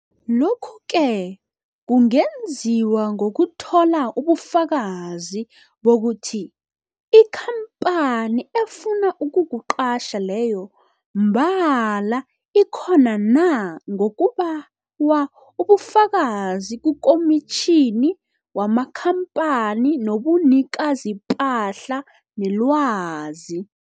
Lokhu-ke kungenziwa ngokuthola ubufakazi bokuthi ikhampani efuna ukukuqatjha leyo mbala ikhona na ngokubawa ubufakazi kuKomitjhini yamaKhampani nobuNikazipahla neLwazi.